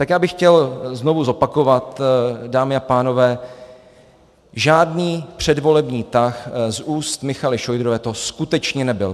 Tak já bych chtěl znovu zopakovat, dámy a pánové, žádný předvolební tah z úst Michaely Šojdrové to skutečně nebyl.